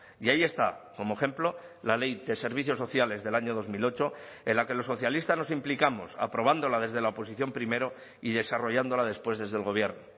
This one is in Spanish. y ahí está como ejemplo la ley de servicios sociales del año dos mil ocho en la que los socialistas nos implicamos aprobándola desde la oposición primero y desarrollándola después desde el gobierno